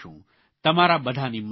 તમારા બધાની મદદથી